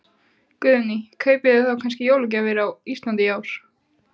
Guðný: Kaupið þið þá kannski jólagjafirnar á Íslandi í ár?